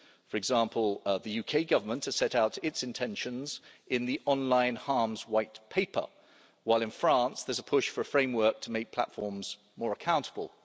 For example the UK Government has set out its intentions in the Online Harms White Paper, while in France there's a push for a framework to make platforms more accountable.